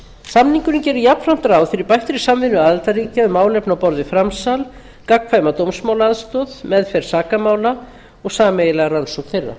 samningurinn gerir jafnframt ráð fyrir bættri samvinnu aðildarríkja um málefni á borð við framsal gagnkvæma dómsmálaaðstoð meðferð sakamála og sameiginlega rannsókn þeirra